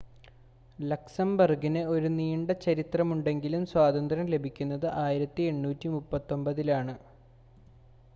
ലക്സംബർഗിന് ഒരു നീണ്ട ചരിത്രമുണ്ടെങ്കിലും സ്വാതന്ത്ര്യം ലഭിക്കുന്നത് 1839-ലാണ്